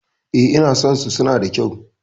E, ina son su, suna da kyau.